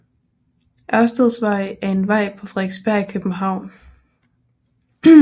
Ørsteds Vej er en gade på Frederiksberg i København